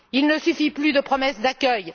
Il ne suffit plus de promesses d'accueil.